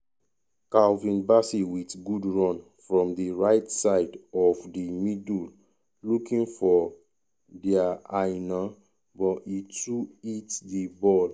calvin bassey wit good run from di right side of di middle looking for ola aina but e too hit di ball.